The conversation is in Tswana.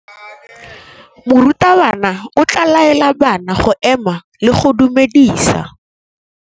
Morutabana o tla laela bana go ema le go go dumedisa.